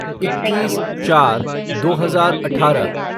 इक्कीस चार दो हजार अठारह